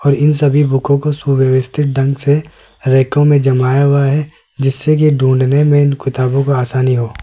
और इन सभी बुकों को सुव्यवस्थित ढंग से रैको में जमाया हुआ है जिससे कि ढूंढने में इन किताबों का आसानी हो।